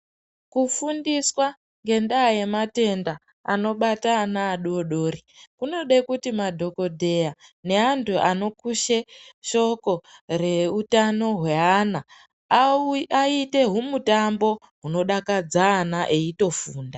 Kufundiswa ngendaa yematenda anobata ana adodori, kunode kuti madhogodheya neantu anokushe shoko reutano hweana, aite hwumutambo hwunodakadza ana, eitofunda.